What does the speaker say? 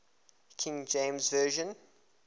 king james version